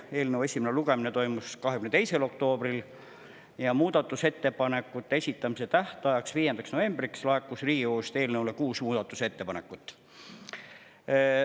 Eelnõu esimene lugemine toimus 22. oktoobril ja muudatusettepanekute esitamise tähtajaks, 5. novembriks laekus Riigikogust eelnõu kohta kuus muudatusettepanekut.